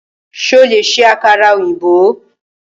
Ṣo lè ṣe àkàrà ọ̀yìnbó?